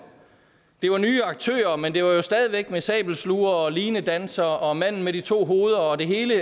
det var nye aktører men det var stadig væk med sabelslugere og linedansere og manden med de to hoveder det hele